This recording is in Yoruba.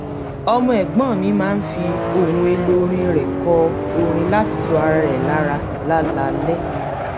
ọmọ ẹ̀gbọ́n mi máa ń fi ohun èlò ọrin rẹ̀ kọ orin láti tu ara rẹ̀ lára láláalẹ́